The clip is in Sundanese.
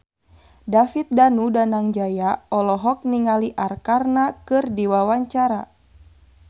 David Danu Danangjaya olohok ningali Arkarna keur diwawancara